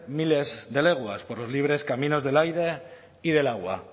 miles de lenguas por los libres caminos del aire y del agua